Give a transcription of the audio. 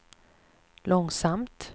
långsamt